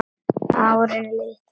Árin líða.